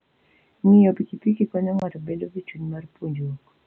Ng'iyo pikipiki konyo ng'ato bedo gi chuny mar puonjruok.